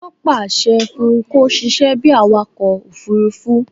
Wọ́n pàṣẹ fún un kó sisẹ́ bíi awakọ̀ òfurufú